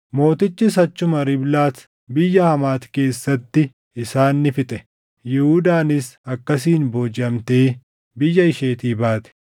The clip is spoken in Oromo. Mootichis achuma Riiblaat biyya Hamaati keessatti isaan ni fixe. Yihuudaanis akkasiin boojiʼamtee biyya isheetii baate.